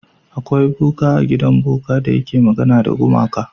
Akwa boka a gidan boka da yake magana da gumakai.